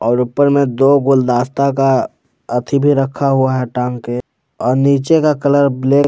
और ऊपर में दो गुलदास्ता का अथि भी रखा हुआ है टांग के और नीचे का कलर ब्लै--